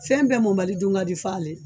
Fɛn bɛɛ mɔnbali dun ka di f'ale.